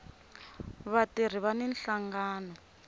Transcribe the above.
vatirhi vani nhlangano